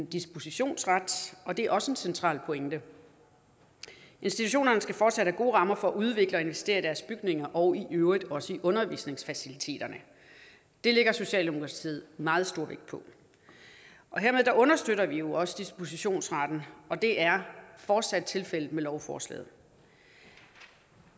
dispositionsret og det er også en central pointe institutionerne skal fortsat have gode rammer for at udvikle og investere i deres bygninger og i øvrigt også i undervisningsfaciliteterne det lægger socialdemokratiet meget stor vægt på hermed understøtter vi også dispositionsretten det er fortsat tilfældet med lovforslaget